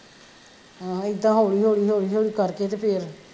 ਹਾਂ ਏਦਾਂ ਹੋਲੀ ਹੋਲੀ ਹੋਲੀ ਹੋਲੀ ਕਰਕੇ ਤੇ ਫੇਰ,